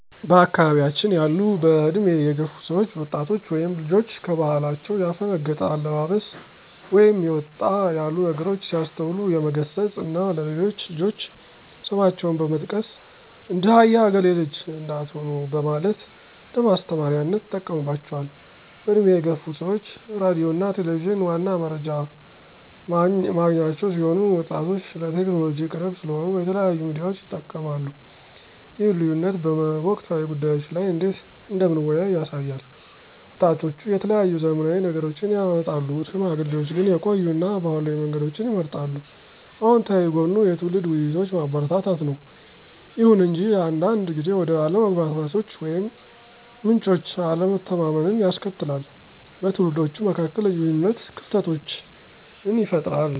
በአካባያችን ያሉ በእድሜ የገፉ ሰዎች ወጣቶች ወይም ልጆች ከባህላቸው ያፈነገጠ አለባበስ ወይም ወጣ ያሉ ንግሮች ሲያስተውሉ የመገሰፅ እና ለሌሎች ልጆች ስማቸውን በመጥቀስ ''እንደ አያ እገሌ ልጅ '' እንዳትሆኑ በማለት እንደማስተማሪያነት ይጠቀሙባቸዋል። በእድሜ የገፉ ሰዎች ሬዲዮ እና ቴሌቪዠን ዋና መረጃ ማግኛቸው ሲሆን ወጣቶች ለቴክኖሎጂ ቅርብ ስለሆኑ የተለያዩ ሚዲያዎችን ይጠቀማሉ ይህ ልዩነት በወቅታዊ ጉዳዮች ላይ እንዴት እንደምንወያይ ያሳያል። ወጣቶች የተለያዩ ዘመናዊ ነገሮችን ያመጣሉ፣ ሽማግሌዎች ግን የቆዩ እና ባህላዊ መንገዶችን ይመርጣሉ። አወንታዊ ጎኑ የትውልድ ውይይቶችን ማበረታታት ነው። ይሁን እንጂ አንዳንድ ጊዜ ወደ አለመግባባቶች ወይም ምንጮች አለመተማመንን ያስከትላል, በትውልዶች መካከል የግንኙነት ክፍተቶችን ይፈጥራል።